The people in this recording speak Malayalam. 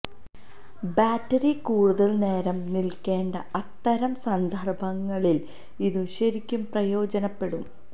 ബാറ്ററി കൂടുതല് നേരം നില്ക്കേണ്ട അത്തരം സന്ദര്ഭങ്ങളില് ഇതു ശരിക്കും പ്രയോജനപ്പെടും